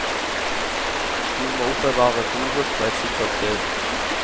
Du må oppbevare foret på et sikkert sted.